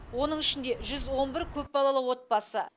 оның ішінде жүз он бір көпбалалы отбасы